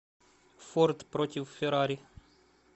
форд против феррари